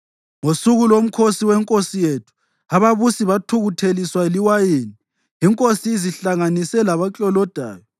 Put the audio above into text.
Ngosuku lomkhosi wenkosi yethu ababusi bathukutheliswa liwayini, inkosi izihlanganise labaklolodayo.